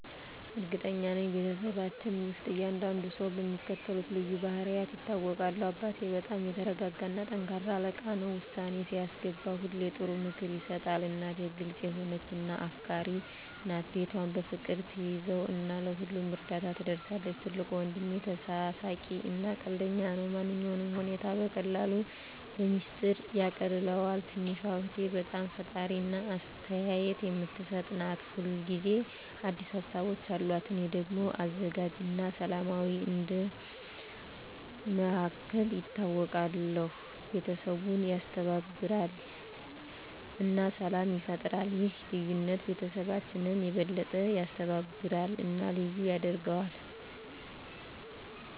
እርግጠኛ ነኝ፤ በቤተሰባችን ውስጥ እያንዳንዱ ሰው በሚከተሉት ልዩ ባህሪያት ይታወቃል - አባቴ በጣም የተረጋጋ እና ጠንካራ አለቃ ነው። ውሳኔ ሲያስገባ ሁሌ ጥሩ ምክር ይሰጣል። እናቴ ግልጽ የሆነች እና አፍቃሪች ናት። ቤቷን በፍቅር ትያዘው እና ለሁሉም እርዳታ ትደርሳለች። ትልቁ ወንድሜ ተሳሳቂ እና ቀልደኛ ነው። ማንኛውንም ሁኔታ በቀላሉ በሚስጥር ያቃልለዋል። ትንሽ እህቴ በጣም ፈጣሪ እና አስተያየት የምትሰጥ ናት። ሁል ጊዜ አዲስ ሀሳቦች አሉት። እኔ ደግሞ አዘጋጅ እና ሰላማዊ እንደ መሃከል ይታወቃለሁ። ቤተሰቡን ያስተባብራል እና ሰላም ይፈጥራል። ይህ ልዩነት ቤተሰባችንን የበለጠ ያስተባብራል እና ልዩ ያደርገዋል።